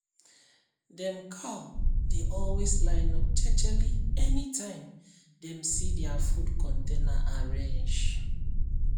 dem cow dey always line up jejely anytime dem see dia food container arrange